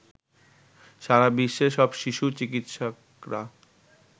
সারা বিশ্বে সব শিশু চিকিৎসকরা